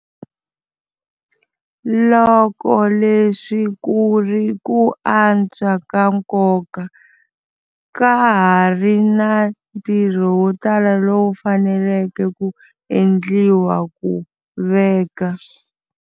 Loko leswi ku ri ku antswa ka nkoka, ka ha ri na ntirho wo tala lowu faneleke ku endliwa ku veka.